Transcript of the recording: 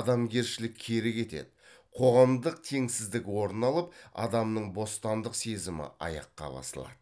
адамгершілік кері кетеді қоғамдық теңсіздік орын алып адамның бостандық сезімі аяққа басылады